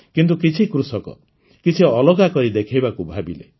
କିନ୍ତୁ କିଛି କୃଷକ କିଛି ଅଲଗା କରି ଦେଖାଇବାକୁ ଭାବିଲେ